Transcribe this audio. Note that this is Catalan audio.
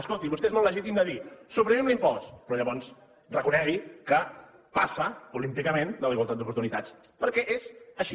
escolti vostè és molt legítim de dir suprimim l’impost però llavors reconegui que passa olímpicament de la igualtat d’oportunitats perquè és així